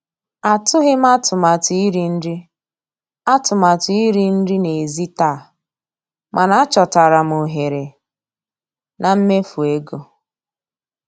Atụghị m atụmatụ iri nri atụmatụ iri nri n'èzí taa, mana achọtara m ohere na mmefu ego.